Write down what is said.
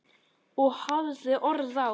Og hafði orð á.